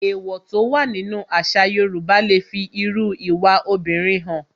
Èwọ̀ tó wà nínú àṣà Yorùbá le fi irú ìwà obìnrin hàn